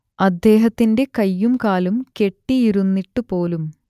അദ്ദേഹത്തിന്റെ കൈയും കാലും കെട്ടിയിരുന്നിട്ടുപോലും